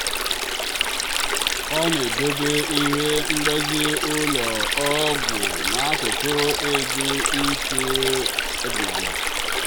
ọ na-edobe ihe mgbazi ụlọ ọgwụ n'akụkụ edo ite ọdịnala.